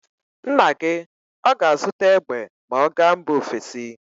Nna gị ọ ga-azụta egbe ma ọ gaa mba ofesi.